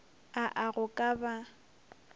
a a go ka ba